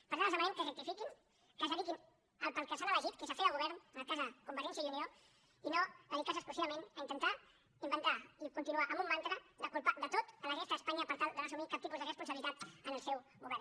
per tant els demanem que rectifiquin que es dediquin a allò per què els han estat elegits que és a fer de govern en el cas de convergència i unió i no a dedicar se exclusivament a intentar inventar i continuar amb un mantra de culpar de tot la resta d’espanya per tal de no assumir cap tipus de responsabilitat en el seu govern